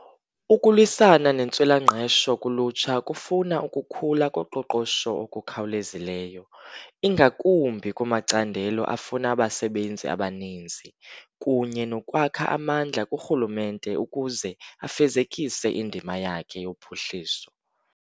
Ukulwisana nentswela-ngqesho kulutsha kufuna ukukhula koqoqosho okukhawulezileyo, ingakumbi kumacandelo afuna abasebenzi abaninzi, kunye nokwakha amandla kurhulumente ukuze afezekise indima yakhe yophuhliso.